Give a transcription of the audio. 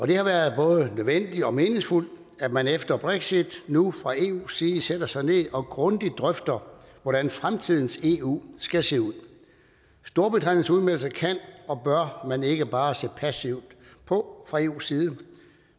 det har været både nødvendigt og meningsfuldt at man efter brexit nu fra eus side sætter sig ned og grundigt drøfter hvordan fremtidens eu skal se ud storbritanniens udmeldelse kan og bør man ikke bare se passivt på fra eus side